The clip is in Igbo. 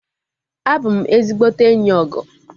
Abụ m ezigbote enyi Ogo